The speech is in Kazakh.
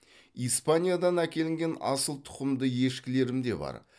испаниядан әкелінген асыл тұқымды ешкілерім де бар